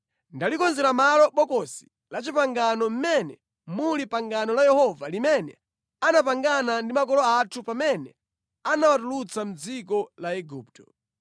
Ndalikonzera malo Bokosi la Chipangano mmene muli pangano la Yehova limene anapangana ndi makolo athu pamene anawatulutsa mʼdziko la Igupto.”